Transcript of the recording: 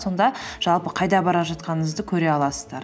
сонда жалпы қайда бара жатқаныңызды көре аласыздар